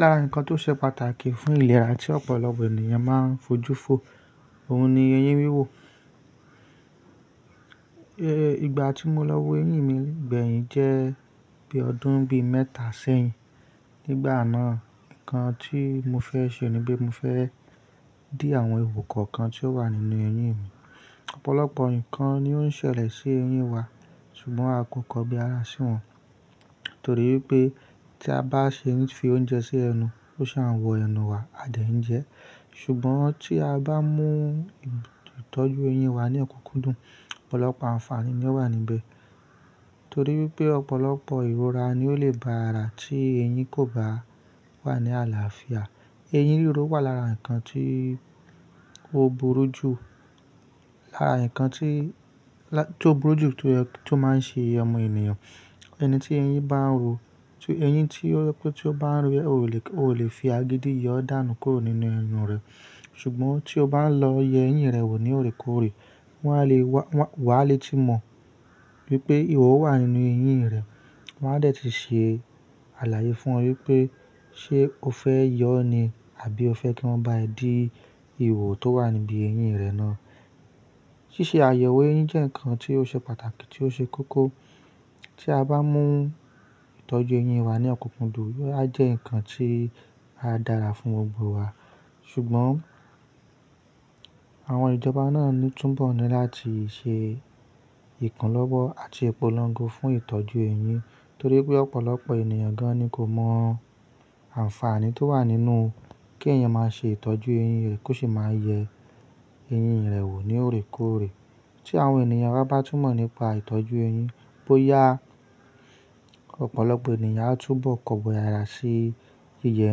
Lára nǹkan tó ṣe pàtàkì fún ìlera tí ọ̀pọ̀lọpọ̀ ènìyàn máa ń fojú fo, òun ni eyín wíwò. Igba ti mo lọ wo eyín mi gbẹ̀yìn jẹ́ bí ọdún bí mẹ́ta sẹ́yìn. Nígbà náà, nǹkan tí mo fẹ́ ṣe ni pé mo fẹ́ dí àwọn ihò kọ̀ọ̀kan tí ó wà nínú eyín mi. Ọ̀pọ̀lọpọ̀ nǹkan ni ó ń ṣẹlẹ̀ sí eyín wa ṣùgbọ́n a kò kọ bí àrà sí wọn torí pé tí a bá ṣe ń fi oúnjẹ sí ẹnu, ó sì máa wọ ẹnu wa, a dà í jẹ. Ṣùgbọ́n tí a bá mú ìtọ́jú eyín wa ní òkùnkùn dùn, ọ̀pọ̀lọpọ̀ àǹfààní ni ó wà níbẹ̀ torí pé ọ̀pọ̀lọpọ̀ ìrora ni ó leè ba àrà tí eyín kò bá wà ní àlàáfíà. Eyín ríro wà lára nǹkan tí ó burú ju, lára nǹkan tí, lá-- tí ó burú ju tó, tó máa ń ṣe iye ọmọ ènìyàn. Ẹni tí eyín bá ń ro, tí eyín tí ó, tí ó bá ń ro rẹ, o lè, o ò lè fi agídí yọ dánù kúrò nínú ẹnu rẹ̀. Ṣùgbọ́n tí o bá lọ yẹ eyín rẹ wò ní òrékòórè, wọn á le wá, wà á le tí mọ wípé ìhọ wà nínú eyín rẹ. Wọn a dà ẹ́ ti ṣe àlàyé fún ọ wípé ṣe o fẹ́ yọ ọ́ ni àbí o fẹ́ kí wọ́n bá ẹ dí ìwọ tó wà níbí eyín rẹ náà. Ṣíṣe àyẹ̀wò eyín jẹ́ nǹkan tí ó ṣe pàtàkì tí ó ṣe kókó. Tí a bá mú ìtọ́jú eyín wa ní òkùnkùn dùn, yóò a jẹ́ nǹkan tí ó dára fún gbogbo wa. Ṣùgbọ́n àwọn ìjọba náà ni túbọ̀ ni láti ṣe ìkúnlọ́wọ́ àti ìpolongo fún ìtọ́jú eyín torí pé ọ̀pọ̀lọpọ̀ ènìyàn gan-an ni kò mọ àǹfààní tó wà nínú kí èèyàn máa ṣe ìtọ́jú eyín rẹ̀ kó sì máa yẹ eyín rẹ̀ wò ní òrékòórè. Tí àwọn ènìyàn wa bá túmọ̀ nípa ìtọ́jú eyín, bóyá ọ̀pọ̀lọpọ̀ ènìyàn á túbọ̀ kọ̀bi àrà sí jíjẹ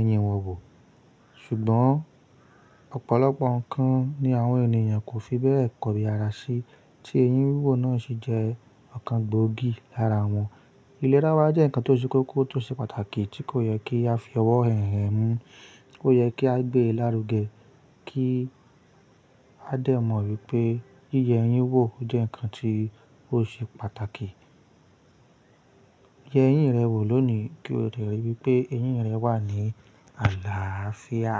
eyín wọn wò. Ṣùgbọ́n ọ̀pọ̀lọpọ̀ nǹkan ni àwọn ènìyàn kò fi bẹ́ẹ̀ kọ̀bi àrà sí tí eyín wíwò náà ṣe jẹ́ ọ̀kan gbòógì lára wọn. Ìlera wa jẹ́ nǹkan tó ṣe kókó tó ṣe pàtàkì tí kò yẹ kí a fi ọwọ́ hànrẹ̀ ẹ́ mú, kò yẹ kí á gbé e lárugẹ kí a dà mọ̀ wípé jíjẹ eyín wò jẹ́ nǹkan tí ó ṣe pàtàkì. Yẹ eyín rẹ wò lónìí kí o lè ríi wípé eyín rẹ wà ní àlàáfíà.